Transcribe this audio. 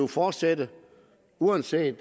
fortsætte uanset